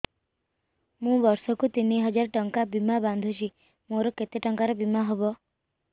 ମୁ ବର୍ଷ କୁ ତିନି ହଜାର ଟଙ୍କା ବୀମା ବାନ୍ଧୁଛି ମୋର କେତେ ଟଙ୍କାର ବୀମା ହବ